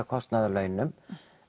kostnaði og launum